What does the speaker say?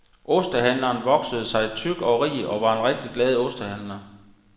Ostehandleren voksede sig tyk og rig og var en rigtig glad ostehandler.